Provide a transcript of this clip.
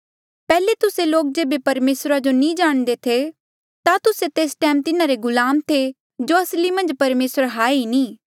पैहले तुस्से लोक जेबे परमेसरा जो नी जाणदे थे ता तुस्से तेस टैम तिन्हारे गुलाम थे जो असली मन्झ परमेसर हाए नी ऐें